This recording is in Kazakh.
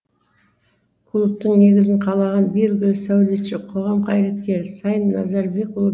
клубтың негізін қалаған белгілі сәулетші қоғам қайраткері сайын назарбекұлы